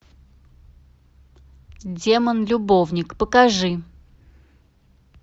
демон любовник покажи